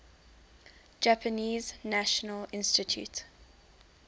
japanese national institute